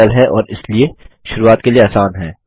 जो कि सरल है और इसीलिए शुरूआत के लिए आसान है